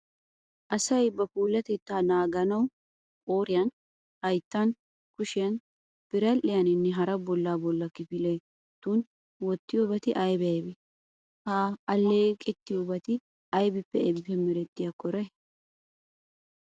Asay ba puulatettaa naaganawu qooriyan, hayttan, kushiya biradhdhiyaninne hara bollaa kifiletun wottiyobati aybee aybee? Ha alleeqettiyobati aybippe aybippe merettiyakkonne eray?